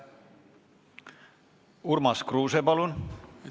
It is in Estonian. Urmas Kruuse, palun!